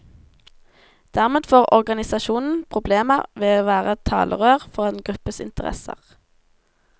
Dermed får organisasjonen problemer med å være talerør for en gruppes interesser.